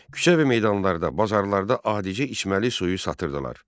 Küçə və meydanlarda, bazarlarda adicə içməli suyu satırdılar.